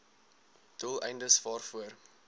doel eindes waarvoor